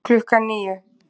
Klukkan níu